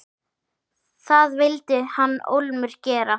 Það vildi hann ólmur gera.